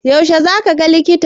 Yaushe zaka ga likitan?